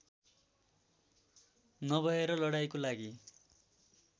नभएर लडाईँको लागि